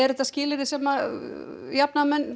þetta skilyrði sem jafnaðarmenn